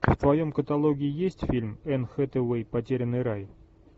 в твоем каталоге есть фильм энн хэтэуэй потерянный рай